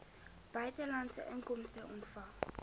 buitelandse inkomste ontvang